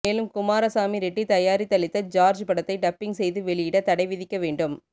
மேலும் குமாரசாமி ரெட்டிதயாரித்தலத்தி சார்ஜ் படத்தை டப்பிங் செய்து வெளியிட தடை விதிக்க வேண்டும்